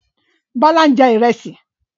Bọ́lá ń jẹ Ìrẹ́sì